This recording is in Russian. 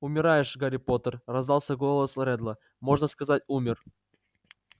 умираешь гарри поттер раздался голос реддла можно сказать умер